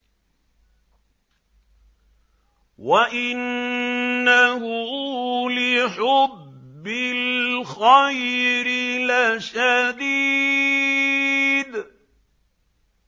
وَإِنَّهُ لِحُبِّ الْخَيْرِ لَشَدِيدٌ